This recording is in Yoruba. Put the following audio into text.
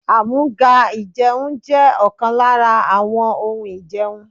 Àmúga-ìjẹun jẹ́ ọ̀kan lára àwọn ohun ìjẹun.